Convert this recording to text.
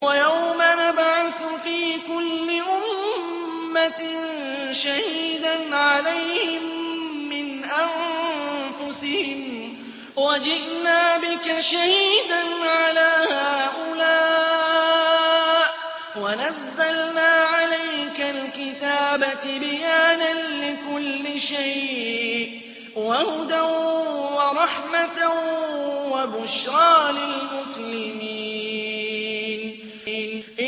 وَيَوْمَ نَبْعَثُ فِي كُلِّ أُمَّةٍ شَهِيدًا عَلَيْهِم مِّنْ أَنفُسِهِمْ ۖ وَجِئْنَا بِكَ شَهِيدًا عَلَىٰ هَٰؤُلَاءِ ۚ وَنَزَّلْنَا عَلَيْكَ الْكِتَابَ تِبْيَانًا لِّكُلِّ شَيْءٍ وَهُدًى وَرَحْمَةً وَبُشْرَىٰ لِلْمُسْلِمِينَ